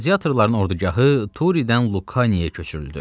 Qladiatorların ordugahı Turidən Lukaniyaya köçürüldü.